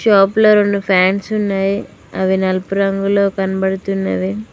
షాప్లో రెండు ఫ్యాన్స్ ఉన్నయి అవి నలుపు రంగులో కనబడుతున్నవి.